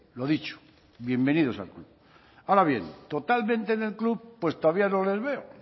lo dicho bienvenidos al club ahora bien totalmente en el club pues todavía no les veo